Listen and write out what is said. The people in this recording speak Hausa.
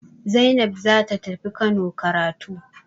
Zainab za ta tafi Kano karatu.